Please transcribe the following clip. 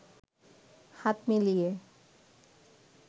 হাত মিলিয়ে